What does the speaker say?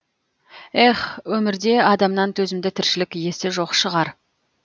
эхх өмірде адамнан төзімді тіршілік иесі жоқ шығар